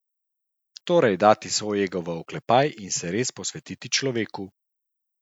Torej dati svoj ego v oklepaj in se res posvetiti človeku.